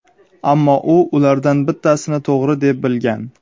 ammo u ulardan bittasini to‘g‘ri deb bilgan.